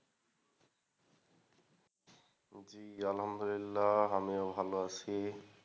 জি আলহামদুলিল্লাহ আমিও ভালো আছি।